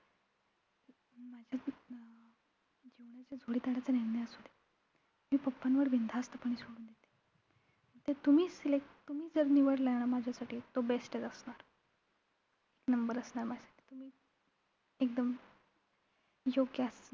जोडीदाराचा निर्णय असू दे मी papa वर बिनधास्तपणे सोडून देते. जर तुम्ही select तुम्ही जर निवडलाय न माझ्यासाठी तो best चं असणार. एक number असणार माझ्यासाठी तुम्ही एकदम योग्य असणार,